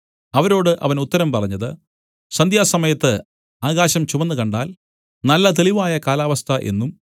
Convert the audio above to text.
അവരോട് അവൻ ഉത്തരം പറഞ്ഞത് സന്ധ്യാസമയത്ത് ആകാശം ചുവന്നുകണ്ടാൽ നല്ല തെളിവായ കാലാവസ്ഥ എന്നും